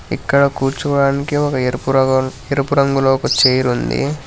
ఇక్కడ కూర్చోడానికి ఒక ఎరుపు రంగులో ఒక చేయిర్ ఉంది.